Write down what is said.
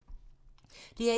DR1